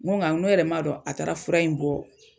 Ŋo ŋa ŋ ne yɛrɛ m'a dɔn a taara fura in bɔ